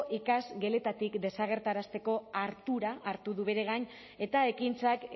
ikasgeletatik desagertarazteko ardura hartu du bere gain eta ekintzak